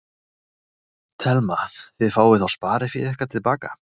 Telma: Þið fáið þá spariféð ykkar til baka?